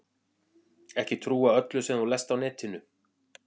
Ekki trúa öllu sem þú lest á netinu.